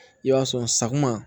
I b'a sɔn sakuma